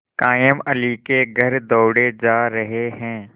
कायमअली के घर दौड़े जा रहे हैं